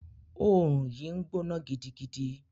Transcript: Òòrùn yìí ń gbóná gidigidi.